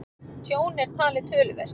Tjón er talið töluvert